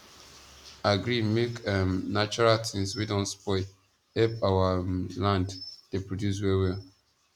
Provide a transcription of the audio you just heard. agree make um natural tings wey don spoil help our um land dey produce well well